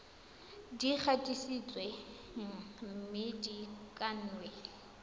di gatisitsweng mme di kannwe